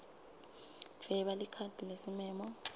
dvweba likhadi lesimemo